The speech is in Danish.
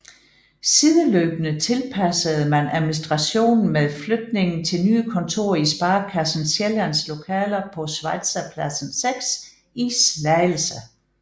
Sideløbende tilpassede man administrationen med flytning til nye kontorer i Sparekassen Sjællands lokaler på Schweizerpladsen 6 i Slagelse